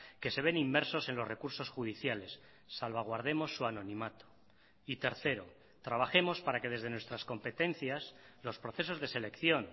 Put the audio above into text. que se ven inmersos en los recursos judiciales salvaguardemos su anonimato y tercero trabajemos para que desde nuestras competencias los procesos de selección